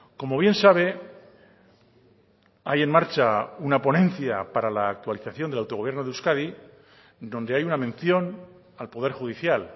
como bien sabe hay en marcha una ponencia para la actualización del autogobierno de euskadi donde hay una mención al poder judicial